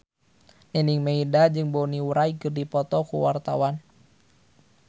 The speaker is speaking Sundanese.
Nining Meida jeung Bonnie Wright keur dipoto ku wartawan